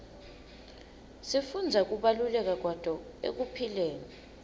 sifundza kubaluleka kwato ekuphileni